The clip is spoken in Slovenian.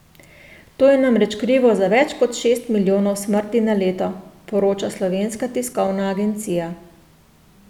To je namreč krivo za več kot šest milijonov smrti na leto, poroča Slovenska tiskovna agencija.